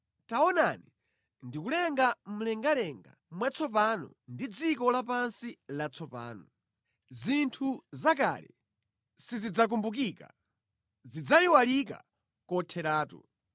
“Taonani, ndikulenga mlengalenga mwatsopano ndi dziko lapansi latsopano. Zinthu zakale sizidzakumbukika, zidzayiwalika kotheratu.